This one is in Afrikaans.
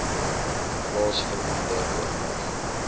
plaas verminder oornag